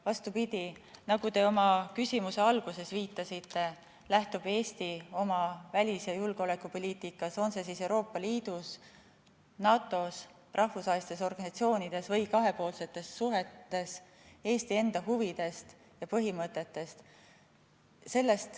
Vastupidi, nagu te oma küsimuse alguses viitasite, lähtub Eesti oma välis- ja julgeolekupoliitikas, on see Euroopa Liidus, NATO‑s, rahvusvahelistes organisatsioonides või kahepoolsetes suhetes, Eesti enda huvidest ja põhimõtetest.